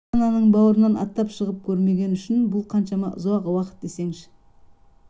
ата-ананың бауырынан аттап шығып көрмеген үшін бұл қаншама ұзақ уақыт десеңші